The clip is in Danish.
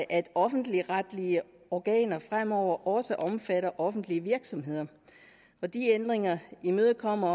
at offentligretlige organer fremover også omfatter offentlige virksomheder og de ændringer imødekommer